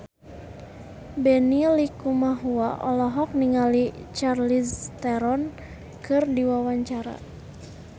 Benny Likumahua olohok ningali Charlize Theron keur diwawancara